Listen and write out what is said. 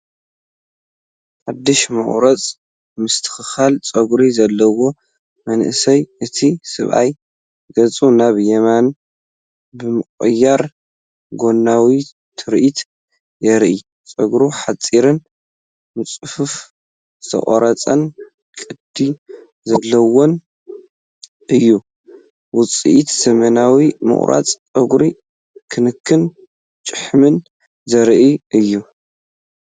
ሓድሽ ምቑራጽ/ምስትኽኻል ጸጉሪ ዘለዎ መንእሰይ። እቲ ሰብኣይ ገጹ ናብ የማን ብምቕያር፡ ጎናዊ ትርኢት የርኢ። ጸጉሩ ሓጺርን ብጽፉፍ ዝተቖርጸን ቅዲ ዘለዎን እዩ። ውጽኢት ዘመናዊ ምቑራጽ ጸጉርን ክንክን ጭሕምን ዘርኢ እዩ።